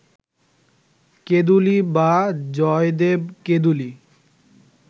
কেঁদুলী বা জয়দেব-কেঁদুলী